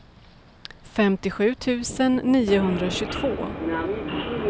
femtiosju tusen niohundratjugotvå